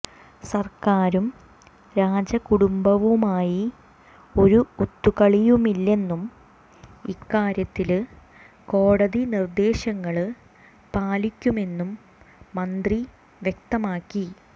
സര്ക്കാരും രാജകുടുംബവുമായി ഒരു ഒത്തുകളിയുമില്ലെന്നും ഇക്കാര്യത്തില് കോടതി നിര്ദേശങ്ങള് പാലിക്കുമെന്നും മന്ത്രി വ്യക്തമാക്കി